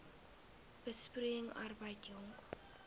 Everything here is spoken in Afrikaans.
besproeiing arbeid jong